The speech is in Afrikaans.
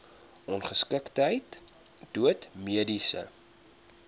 ongeskiktheid dood mediese